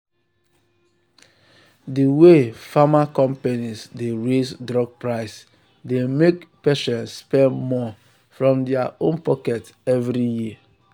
the way pharma companies dey raise drug price dey make patients spend more from their own pocket every year.